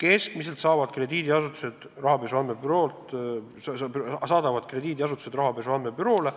Keskmiselt saadavad krediidiasutused rahapesu andmebüroole